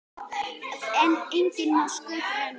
En enginn má sköpum renna.